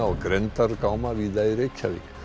og grenndargáma víða í Reykjavík